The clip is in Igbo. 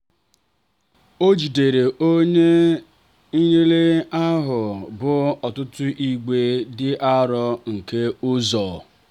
ojideere onye nnyefe ahụ bụ ọtụtụ igbe dị arọ nke ụzọ.